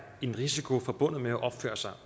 en risiko forbundet med at opføre sig